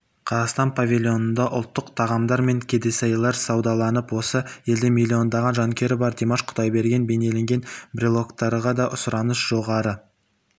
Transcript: қазақстан павильонында ұлттық тағамдар мен кәдесыйлар саудаланды осы елде миллиондаған жанкүйері бар димаш құдайберген бейнеленген брелоктарға да сұраныс жоғары